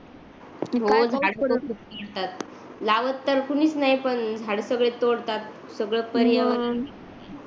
लावत तर कुणीच नाही पण झाडे सगळेच तोडतातसगळच पर्यावरण